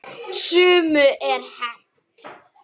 Sumu er hent.